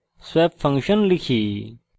তারপর swap function লিখি